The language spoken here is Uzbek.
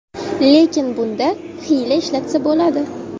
Lekin bunda hiyla ishlatsa bo‘ladi.